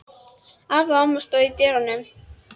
Afi og amma stóðu í dyrunum.